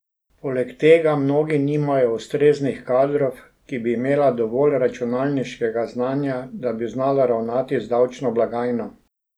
Poleg tega mnoga nimajo ustreznih kadrov, ki bi imela dovolj računalniškega znanja, da bi znala ravnati z davčno blagajno.